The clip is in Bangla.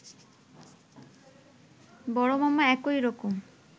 বড় মামা একই রকম